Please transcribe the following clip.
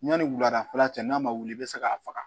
Yanni wuladanfɛla cɛ n'a ma wuli i bɛ se k'a faga